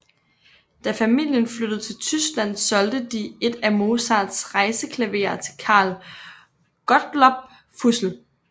Da familien flyttede til Tyskland solgte de et af Mozarts rejseklaverer til Carl Gottlob Füssel